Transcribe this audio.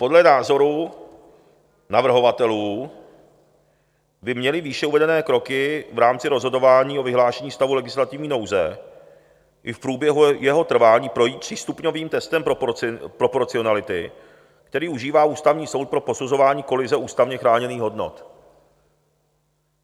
Podle názoru navrhovatelů by měly výše uvedené kroky v rámci rozhodování o vyhlášení stavu legislativní nouze i v průběhu jeho trvání projít třístupňovým testem proporcionality, který užívá Ústavní soud pro posuzování kolize ústavně chráněných hodnot.